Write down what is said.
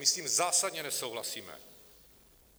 My s tím zásadně nesouhlasíme.